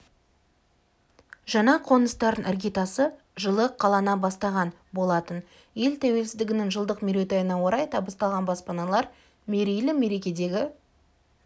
жаңа қоныстардың іргетасы жылы қалана бастаған болатын ел тәуелсіздігінің жылдық мерейтойына орай табысталған баспаналар мерейлі мерекедегі